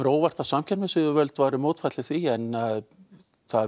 á óvart ef samkeppnisyfirvöld væru mótfallin því en það